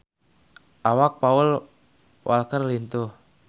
Awak Paul Walker lintuh